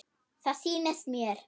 Það sýnist mér.